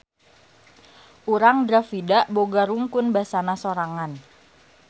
Urang Dravida boga rungkun basana sorangan.